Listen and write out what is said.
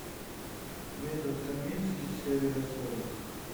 метод комински серия сорок